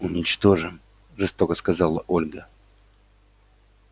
уничтожим жестоко сказала ольга